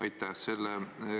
Aitäh!